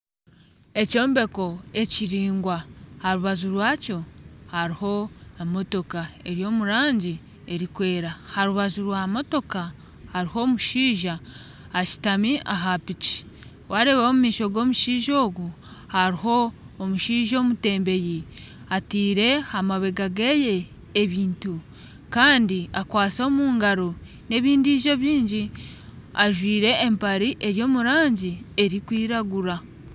Ekyombeko ekiraingwa aha rubaju rwakyo hariho emotooka eri omu rangi erikwera harubaju rwa motooka hariho omushaija ashutami aha piiki wareebaho omu maisho g'omushaija ogu hariho omushaija omutembeyi ateire aha mabega ge ebintu kandi akwatsi omu ngaro n'ebindi bingi ajwaire empare eri omu rangi erikwiragura.